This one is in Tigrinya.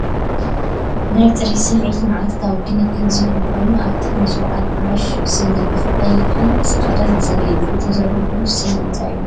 ናይ ጽሬት ስምዒትን መዓልታዊ ክንክንን ዝህብ ኮይኑ፡ ኣብ ጥቕሚ ዝወዓለ ብራሽ ስኒ ብቐይሕን ጻዕዳን ዘርኢ እዩ። እቲ ዘሎ ብራሽ ስኒ እንታይ እዩ?